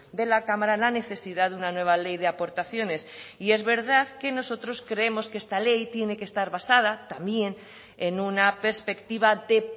de la cámara la necesidad de una nueva ley de aportaciones y es verdad que nosotros creemos que esta ley tiene que estar basada también en una perspectiva de